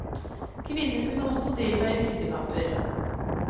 Kvinner kunne også delta i brytekamper.